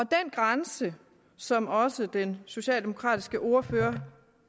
grænse som også den socialdemokratiske ordfører